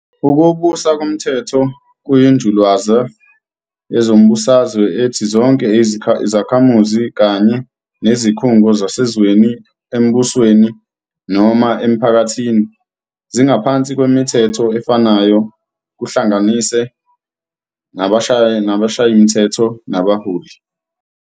Ukubusa komthetho kuyinjulalwazi yezombusazwe ethi zonke izakhamuzi kanye nezikhungo zasezweni, embusweni, noma emphakathini zingaphansi kwemithetho efanayo, kuhlanganise nabashayimthetho nabaholi.